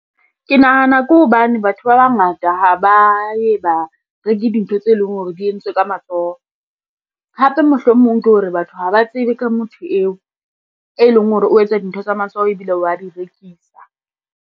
Ke nahana ke hobane batho ba bangata ha ba ye ba reke dintho tse leng hore di entswe ka matsoho. Hape mohlomong ke hore batho ha ba tsebe ka motho eo, e leng hore o etsa dintho tsa matsoho ebile wa di rekisa.